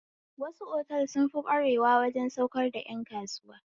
Wasu otal sunfi ƙware waje saukar da ƴan kasuwa